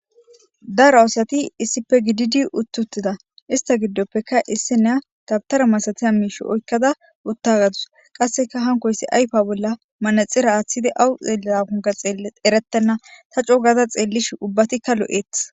dara aosati issipe gididi uttutida ista giddoppeka issi nea dabtara masatiya miishi oykkada uttagadus qasseka hankoyssi ayfa bolla manaxira aaththidi awu xeellida kunga xeelle eretenna ta co gaza xeellish ubbatikka lu7eeth